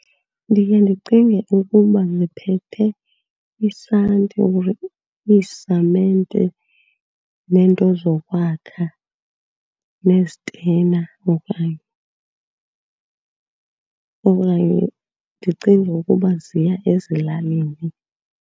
Ndiye ndicinge ukuba ziphethe isanti or iisamente neento zokwakha nezitena okanye. Okanye ndicinge ukuba ziya ezilalini.